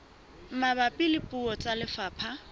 mabapi le puo tsa lefapha